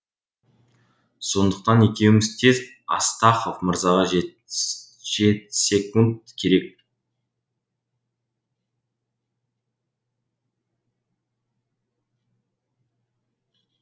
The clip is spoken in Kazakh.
сондықтан екеуміз тез астахов мырзаға жетсек керек